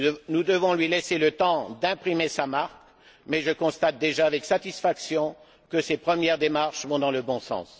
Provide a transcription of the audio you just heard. Nous devons lui laisser le temps d'imprimer sa marque, mais je constate déjà avec satisfaction que ses premières démarches vont dans le bon sens.